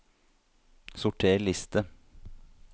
Sorter liste